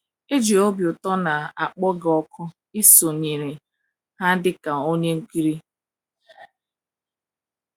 E ji obi ụtọ na - akpọ gị òkù isonyere ha dị ka onye nkiri.